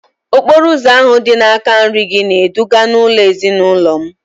okporo ụzọ ahụ dị n’aka nri gị na-eduga n’ụlọ ezinụlọ m